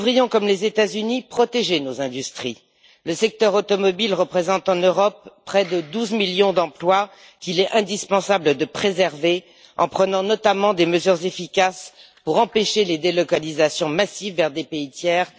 Comme les États Unis, nous devrions protéger nos industries. Le secteur automobile représente en Europe près de 12 millions d'emplois qu'il est indispensable de préserver, notamment en prenant des mesures efficaces pour empêcher les délocalisations massives vers des pays tiers.